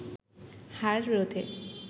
হার রোধে